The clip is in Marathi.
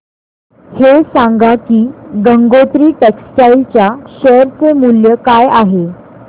हे सांगा की गंगोत्री टेक्स्टाइल च्या शेअर चे मूल्य काय आहे